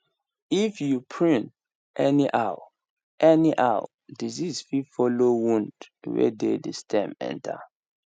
if you prune anyhow anyhow disease fit follow wound wey dey the stem enter